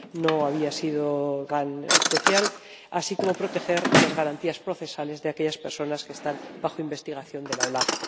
no había sido tan especial— y proteger las garantías procesales de aquellas personas que están bajo investigación de la OLAF.